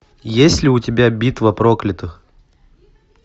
есть ли у тебя битва проклятых